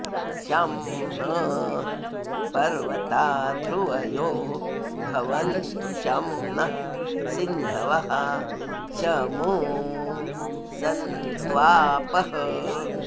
शं नः॒ पर्व॑ता ध्रु॒वयो॑ भवन्तु॒ शं नः॒ सिन्ध॑वः॒ शमु॑ स॒न्त्वापः॑